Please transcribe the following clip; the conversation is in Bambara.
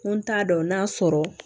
N ko n t'a dɔn n'a sɔrɔ